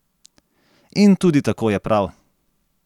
In tudi tako je prav!